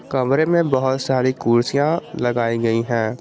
कमरे में बहुत सारी कुर्सियां लगाई गई है।